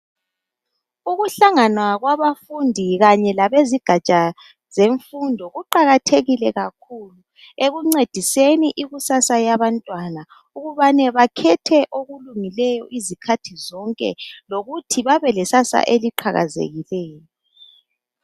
Ukuhlangana kwabafundi kanye labezigatsha zemfundo kuqakathekile kakhulu ekuncediseni ikusasa yabantwana ukubana bakhethe okulungileyo izikhathi zonke lokuthi babe lesasa eliqhakazekileyo.